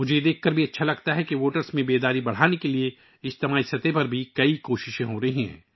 مجھے یہ جان کر بھی خوشی ہوئی ہے کہ رائے دہندگان میں بیداری بڑھانے کے لیے کمیونٹی کی سطح پر بہت سی کوششیں کی جارہی ہیں